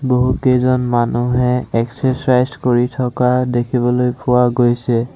বহুতকেইজন মানুহে এক্সচাৰছাইজ কৰি থকা দেখিবলৈ পোৱা গৈছে।